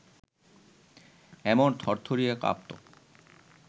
এমন থরথরিয়ে কাঁপত